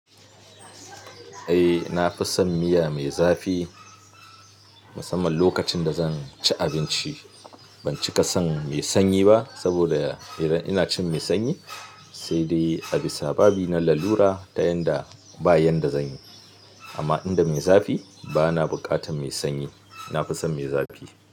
Eh, nafi son miya mai zafi musamman lokacin da zanci abinci. Ban cika son mai sanyi ba saboda idan ina cin mai sanyi, sai dai a bisa babi na lalura ta yanda ba yanda zanyi. Amma inda mai zafi bana buƙatar mai sanyi. Na fi son mai zafi.